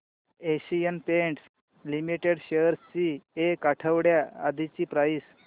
Asian Paints Limited shares ची एक आठवड्या आधीची प्राइस